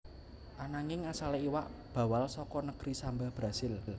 Ananging asalé iwak bawal saka negri Samba Brazil